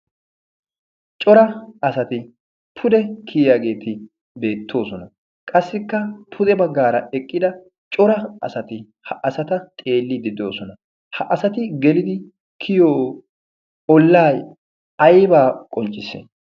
cora asati pude kiyiyaageeti beettoosona. qassikka pude baggaara eqqida cora asati ha asata xeelliddi de'osona. ha asati gelidi kiyiyo olay aybbaa qonccissi?